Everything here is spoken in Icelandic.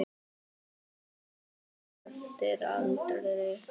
Lítill eftir aldri.